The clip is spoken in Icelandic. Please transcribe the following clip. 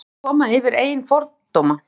Þurfti að komast yfir eigin fordóma